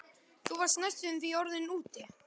Þú varst næstum því orðinn úti.